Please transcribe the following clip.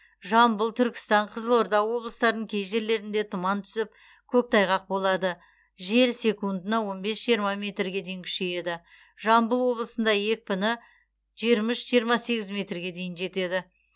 жамбыл түркістан қызылорда облыстарының кей жерлерінде тұман түсіп коктайғақ болады жел секундына он бес жиырма метрге дейін күшейеді жамбыл облысында екпіні жиырма үш жиырма сегіз метрге дейін жетеді